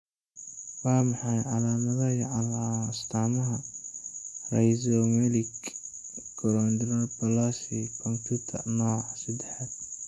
Waa maxay calaamadaha iyo astamaha Rhizomelic chondrodysplasia punctata nooca seddaxad?